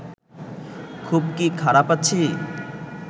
খুব কি খারাপ আছি